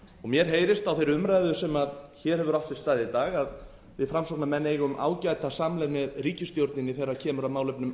mér heyrist á þeirri umræðu sem hér hefur átt sér stað í dag að við framsóknarmenn eigum ágæta samleið með ríkisstjórninni þegar kemur að málum